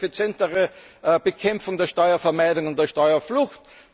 durch eine effizientere Bekämpfung der Steuerhinterziehung und der Steuerflucht?